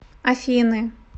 афины